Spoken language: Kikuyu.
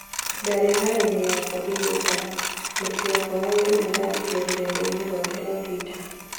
"Ndarĩ haroinĩ yaku ngĩgutara, mũruti wakwa wa wĩra" nĩarandĩkire rũrendainĩ rwake rwa twita.